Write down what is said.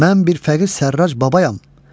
Mən bir fəqir Sərrac babayam.